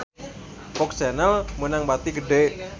FOX Channel meunang bati gede